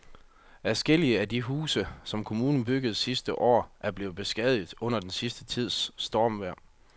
Adskillige af de huse, som kommunen byggede sidste år, er blevet beskadiget under den sidste tids stormvejr.